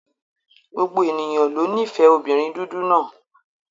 Gbogbo ènìyàn ló nífẹ̀ẹ́ obìnrin dúdú náà.